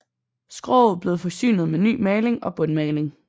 Skroget blev forsynet med ny maling og bundmaling